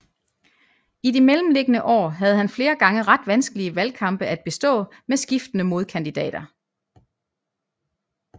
I de mellemliggende år havde han flere gange ret vanskelige valgkampe at bestå med skiftende modkandidater